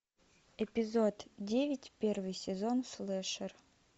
эпизод девять первый сезон слэшер